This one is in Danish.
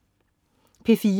P4: